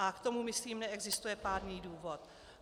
A k tomu, myslím, neexistuje pádný důvod.